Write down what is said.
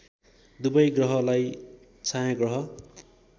दुबै ग्रहलाई छायाँग्रह